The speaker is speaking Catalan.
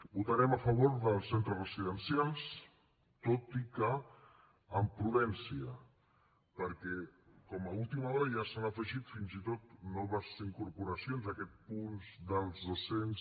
votarem a favor dels centres residencials tot i que amb prudència perquè com a última hora ja s’han afegit fins i tot noves incorporacions a aquests punts dels dos cents